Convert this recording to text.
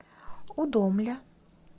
удомля